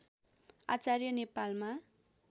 आचार्य नेपालमा